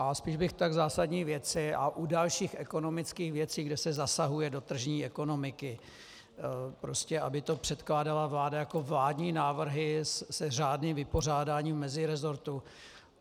A spíš bych tak zásadní věci - a u dalších ekonomických věcí, kde se zasahuje do tržní ekonomiky, prostě aby to předkládala vláda jako vládní návrhy se řádným vypořádáním mezirezortu.